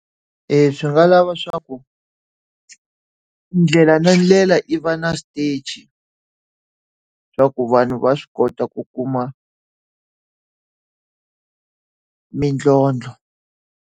E swi nga lava swa ku ndlela na ndlela yi va na xitichi, swa ku vanhu va swi kota ku kuma mintlhontlho.